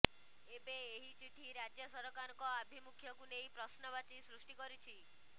ଏବେ ଏହି ଚିଠି ରାଜ୍ୟ ସରକାରଙ୍କ ଆଭିମୁଖ୍ୟକୁ ନେଇ ପ୍ରଶ୍ନବାଚୀ ସୃଷ୍ଟି କରିଛି